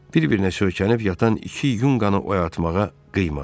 Bir-birinə söykənib yatan iki yunqanı oyatmağa qıymadı.